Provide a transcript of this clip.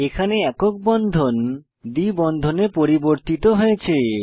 এখানে একক বন্ধন দ্বি বন্ধনে পরিবর্তিত হয়েছে